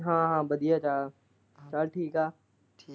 ਹਾਂ ਹਾਂ ਵਧੀਆ ਗਾ, ਚਲ ਠੀਕ ਐ।